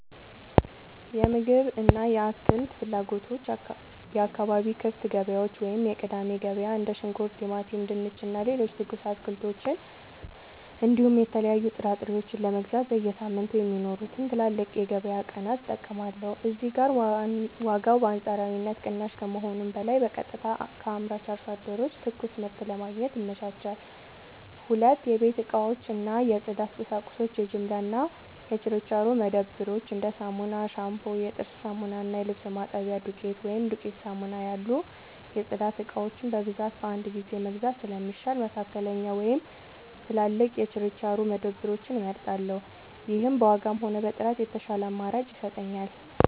የምግብ እና የአትክልት ፍላጎቶች የአካባቢ ክፍት ገበያዎች (የቅዳሜ ገበያ): እንደ ሽንኩርት፣ ቲማቲም፣ ድንች እና ሌሎች ትኩስ አትክልቶችን እንዲሁም የተለያዩ ጥራጥሬዎችን ለመግዛት በየሳምንቱ የሚኖሩትን ትላልቅ የገበያ ቀናት እጠቀማለሁ። እዚህ ጋር ዋጋው በአንጻራዊነት ቅናሽ ከመሆኑም በላይ በቀጥታ ከአምራች አርሶ አደሮች ትኩስ ምርት ለማግኘት ይመቻቻል። 2. የቤት እቃዎች እና የጽዳት ቁሳቁሶች የጅምላ እና የችርቻሮ መደብሮች: እንደ ሳሙና፣ ሻምፑ፣ የጥርስ ሳሙና እና የልብስ ማጠቢያ ዱቄት (ዱቄት ሳሙና) ያሉ የጽዳት እቃዎችን በብዛት በአንድ ጊዜ መግዛት ስለሚሻል፣ መካከለኛ ወይም ትላልቅ የችርቻሮ መደብሮችን እመርጣለሁ። ይህም በዋጋም ሆነ በጥራት የተሻለ አማራጭ ይሰጠኛል።